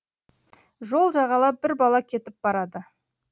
жол жағалап бір бала кетіп барады